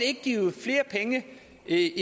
ikke